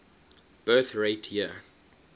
birth rate year